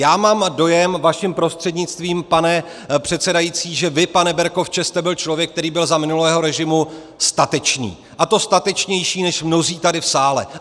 Já mám dojem, vaším prostřednictvím, pane předsedající, že vy, pane Berkovče, jste byl člověk, který byl za minulého režimu statečný, a to statečnější než mnozí tady v sále.